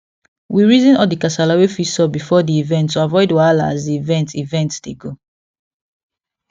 we reason all the kasala wey fit sup before the event to avoid wahala as the event event dey go